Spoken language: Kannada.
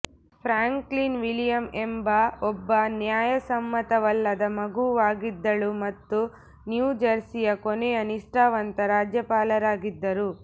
ಫ್ರಾಂಕ್ಲಿನ್ ವಿಲಿಯಮ್ ಎಂಬ ಒಬ್ಬ ನ್ಯಾಯಸಮ್ಮತವಲ್ಲದ ಮಗುವಾಗಿದ್ದಳು ಮತ್ತು ನ್ಯೂ ಜರ್ಸಿಯ ಕೊನೆಯ ನಿಷ್ಠಾವಂತ ರಾಜ್ಯಪಾಲರಾಗಿದ್ದರು